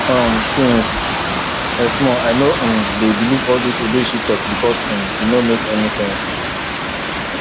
um since i small i no um dey believe all dis odeshi talk because um e no make any sense